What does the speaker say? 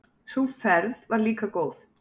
Sú ferð var líka góð.